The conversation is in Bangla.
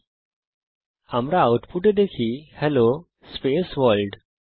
সুতরাং আউটপুটে আমরা দেখি হেলো স্পেস ভোর্ল্ড